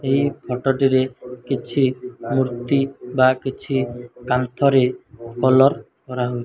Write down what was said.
ଏହି ଫଟ ଟି ରେ କିଛି ମୂର୍ତ୍ତି ବା କିଛି କାନ୍ଥ ରେ କଲର କରାହୋଇ --